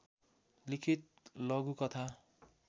लिखित लघुकथा